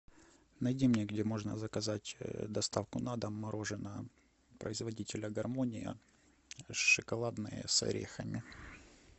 найди мне где можно заказать доставку на дом мороженое производителя гармония шоколадное с орехами